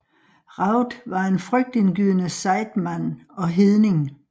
Raud var en frygtindgydende sejdmand og hedning